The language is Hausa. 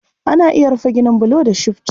Ana iya rufe ginin bulu da shifci.